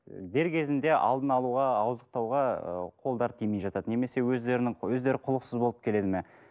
дер кезінде алдын алуға ауыздықтауға қолдары тимей жатады немесе өздерінің өздері құлықсыз болып келеді ме